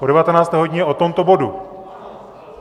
Po devatenácté hodině o tomto bodu.